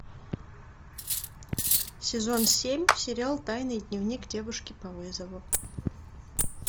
сезон семь сериал тайный дневник девушки по вызову